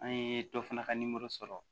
An ye dɔ fana ka nimoro sɔrɔ